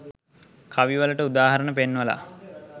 කවි වලට උදාහරණ පෙන්වලා